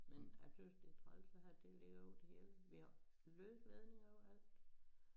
Men jeg tøs det træls at have det ligger ud over det hele vi har løse ledninger overalt